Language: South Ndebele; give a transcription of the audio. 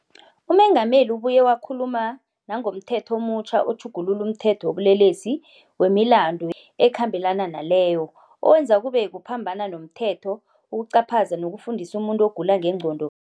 UMengameli ubuye wakhuluma nangomThetho omutjha oTjhugulula umThetho wobuLelesi, wemiLandu eKhambelana naleyo, owenza kube kuphambana nomthetho ukucaphaza nokufundisa umuntu ogula ngengqondo